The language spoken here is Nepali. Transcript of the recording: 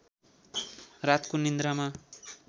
रातको निद्रामा